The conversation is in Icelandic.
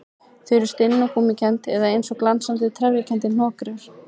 Þau eru stinn og gúmmíkennd eða eins og glansandi, trefjakenndir hnökrar.